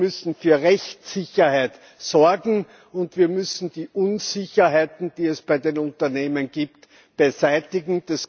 Wir müssen für Rechtssicherheit sorgen und wir müssen die Unsicherheiten, die es bei den Unternehmen gibt, beseitigen.